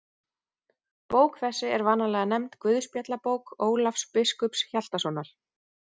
Bók þessi er vanalega nefnd Guðspjallabók Ólafs biskups Hjaltasonar.